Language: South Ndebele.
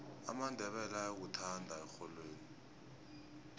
amandebele ayakuthanda erholweni